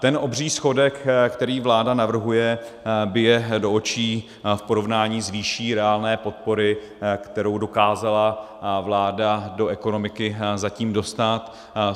Ten obří schodek, který vláda navrhuje, bije do očí v porovnání s výší reálné podpory, kterou dokázala vláda do ekonomiky zatím dostat.